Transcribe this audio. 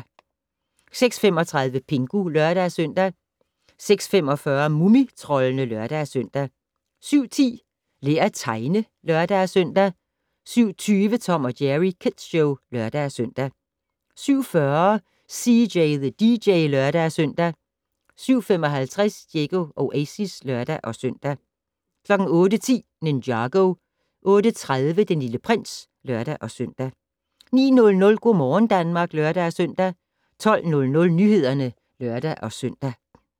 06:35: Pingu (lør-søn) 06:45: Mumitroldene (lør-søn) 07:10: Lær at tegne (lør-søn) 07:20: Tom & Jerry Kids Show (lør-søn) 07:40: CJ the DJ (lør-søn) 07:55: Diego Oasis (lør-søn) 08:10: Ninjago 08:30: Den Lille Prins (lør-søn) 09:00: Go' morgen Danmark (lør-søn) 12:00: Nyhederne (lør-søn)